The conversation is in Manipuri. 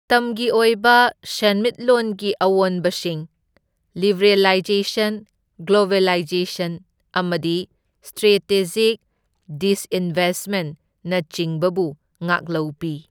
ꯃꯇꯝꯒꯤ ꯑꯣꯏꯕ ꯁꯦꯟꯃꯤꯠꯂꯣꯟꯒꯤ ꯑꯑꯣꯟꯕꯁꯤꯡ ꯂꯤꯕ꯭ꯔꯦꯂꯥꯏꯖꯦꯁꯟ, ꯒ꯭ꯂꯣꯕꯦꯂꯥꯏꯖꯦꯁꯟ ꯑꯃꯗꯤ ꯁꯇ꯭ꯔꯦꯇꯦꯖꯤꯛ ꯗꯤꯁꯏꯟꯚꯦꯁꯃꯦꯟꯠꯅ ꯆꯤꯡꯕꯕꯨ ꯉꯥꯛꯂꯧ ꯄꯤ꯫